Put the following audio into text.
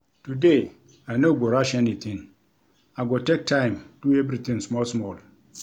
Today, I no go rush anytin, I go take time do everytin small-small.